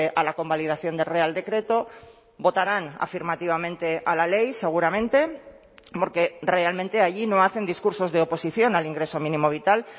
a la convalidación del real decreto votarán afirmativamente a la ley seguramente porque realmente allí no hacen discursos de oposición al ingreso mínimo vital